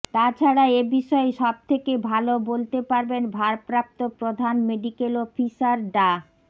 তাছাড়া এ বিষয়ে সব থেকে ভালো বলতে পারবেন ভারপ্রাপ্ত প্রধান মেডিকেল অফিসার ডা